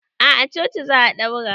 A a coci za a daura